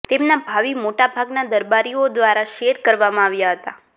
તેમના ભાવિ મોટાભાગના દરબારીઓ દ્વારા શેર કરવામાં આવ્યા હતા